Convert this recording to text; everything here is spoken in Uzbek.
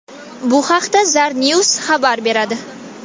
Bu haqda Zarnews xabar beradi .